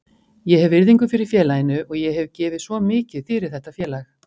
Ég hef virðingu fyrir félaginu og ég hef gefið svo mikið fyrir þetta félag.